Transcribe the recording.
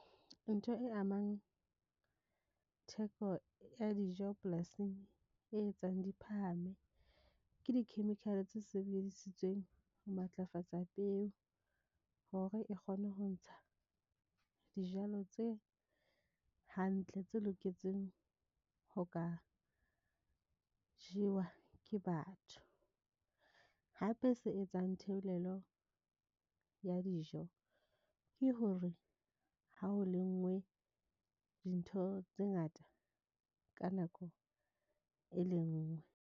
Ntho e amang theko ya dijo polasing e etsang di phahame ke di chemical tse sebedisitsweng ho matlafatsa peo hore e kgone ho ntsha dijalo tse hantle, tse loketseng ho ka jewa ke batho. Hape se etsang theolelo ya dijo ke hore ha o lengwe dintho tse ngata ka nako e le nngwe.